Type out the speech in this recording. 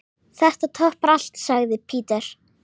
Þetta toppar allt, sagði Peter.